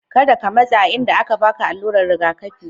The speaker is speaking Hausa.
Ka da ka matsa inda aka ba ka alura'n rigakafi.